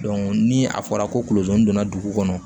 ni a fɔra ko kolosonin donna dugu kɔnɔ